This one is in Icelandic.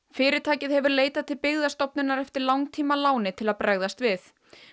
fyrirtækið hefur leitað til Byggðastofnunar eftir langtímaláni til að bregðast við